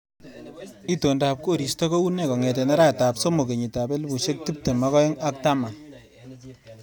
Itondop koristo koune kongete arawetap somok kenyitab elbushek tuptem ak aeng ak taman